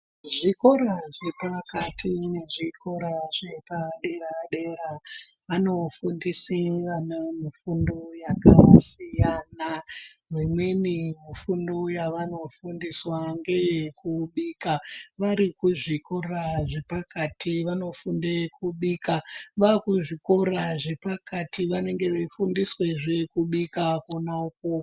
Zvikora zvepakati nezvikora zvepa dera dera vanofundise vana mufundo yakasiyana. Mimweni mifundo yavanofundiswa ngeyekubika. vari kuzvikora zvepakati vanofunde kubika vakuzvikora zvepakati vanenge vaifundiswazve kubika kwona ukwokwo.